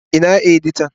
Ina editan?